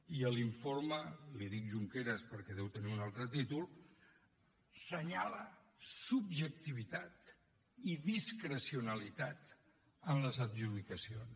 i l’informe en dic junqueras perquè deu tenir un altre títol assenyala subjectivitat i discrecionalitat en les adjudicacions